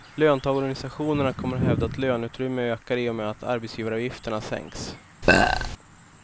Löntagarorganisationerna kommer att hävda att löneutrymmet ökar i och med att arbetsgivaravgifterna sänks.